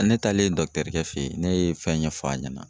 Ne taalen kɛ fɛ yen ne ye fɛn ɲɛfɔ a ɲɛna